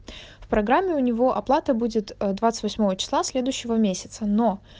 в программе у него оплата будет двадцать восьмого числа следующего месяца но